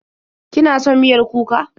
Kina son miyar kuka?